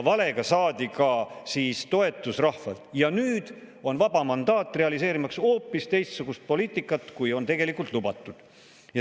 Valega saadi ka toetus rahvalt ja nüüd on vaba mandaat, realiseerimaks hoopis teistsugust poliitikat, kui on tegelikult lubatud.